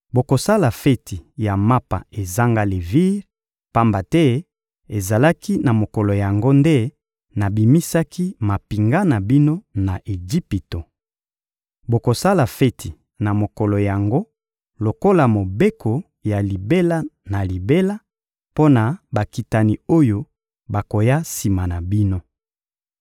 Bokosala feti ya Mapa ezanga levire, pamba te ezalaki na mokolo yango nde nabimisaki mampinga na bino na Ejipito. Bokosala feti na mokolo yango lokola mobeko ya libela na libela mpo na bakitani oyo bakoya sima na bino.